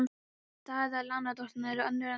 Staða lánardrottna er önnur en hluthafa.